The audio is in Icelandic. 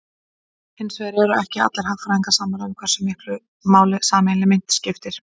Hins vegar eru ekki allir hagfræðingar sammála um hversu miklu máli sameiginleg mynt skipti.